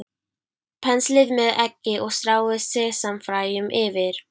Penslið með eggi og stráið sesamfræjum yfir.